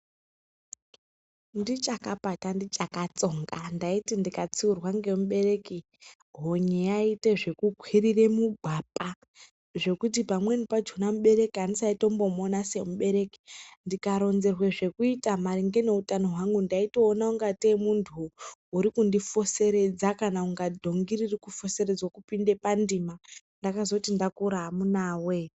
"Ndichakapata, ndichakatsonga, ndaiti ndikatsiurwa ngemubereki honye yaiita zvekukwirira mugwapa zvekuti pamweni pachona mubereki ndaisatombomuona semubereki, ndikaronzerwe zvekuita maringe neutano hwangu ndaitoona kungatei muntu urikundi foseredza kana kunga dhongi riri kufoseredza kupinde pandima! Ndakazoti ndakura, amunaa woye."